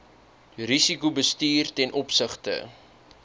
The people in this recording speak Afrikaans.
risikobestuur ten opsigte